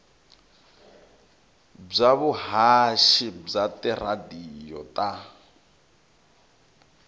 bya vuhaxi bya tiradiyo ta